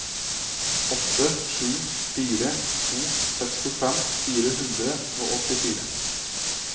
åtte sju fire to sekstifem fire hundre og åttifire